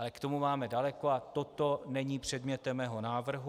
Ale k tomu máme daleko a toto není předmětem mého návrhu.